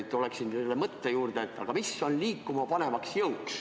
Tuleksingi selle mõtte juurde, et mis on liikumapanev jõud.